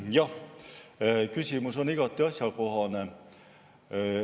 Jah, küsimus on igati asjakohane.